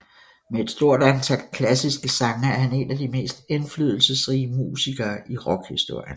Med et stort antal klassiske sange er han en af de mest indflydelsesrige musikere i rockhistorien